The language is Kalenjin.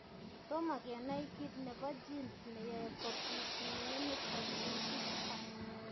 Tomo kenai kiit nebo genes neyoe kobit mionitok eng' bichutok